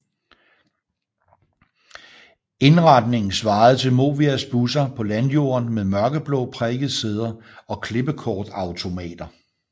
Indretningen svarede til Movias busser på landjorden med mørkeblå prikkede sæder og klippekortautomater